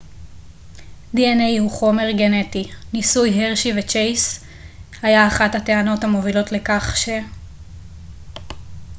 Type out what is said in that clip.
ניסוי הרשי וצ'ייס היה אחת הטענות המובילות לכך ש-dna הוא חומר גנטי